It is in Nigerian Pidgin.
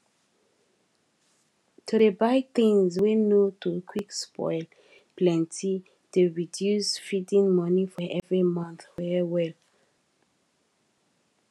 to dey buy things wey nor to quick spoilplenty dey reduce feeding money for every month well well